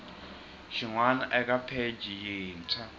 xin wana eka pheji yintshwa